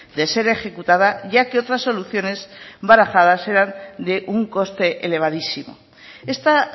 de ser ejecutada ya que otras soluciones barajadas eran de un coste elevadísimo esta